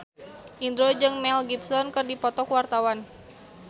Indro jeung Mel Gibson keur dipoto ku wartawan